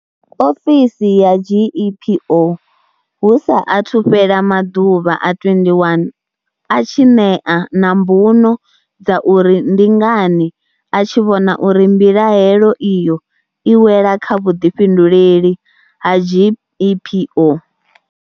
Ofisi ya GEPO hu sa athu fhela maḓuvha a 21 a tshi ṋea na mbuno dza uri ndi ngani a tshi vhona uri mbilahelo iyo i wela kha vhuḓifhinduleli ha GEPO.